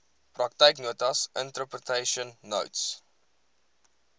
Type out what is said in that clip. praktyknotas interpretation notes